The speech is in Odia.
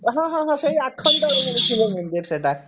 ହଁ ହଁ ହଁ ହଁ ସେଇ ଆଖଣ୍ଡଳମଣି ଶିବ ମନ୍ଦିର ସେଇଟା